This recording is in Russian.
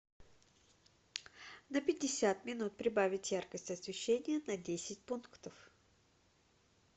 на пятьдесят минут прибавить яркость освещения на десять пунктов